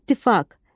İttifaq.